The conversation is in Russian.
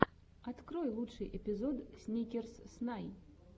открой лучший эпизод сникерс снай